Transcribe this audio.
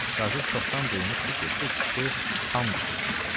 Qazı çoxdan duymuşdu ki, bu kişi xam düşübdür.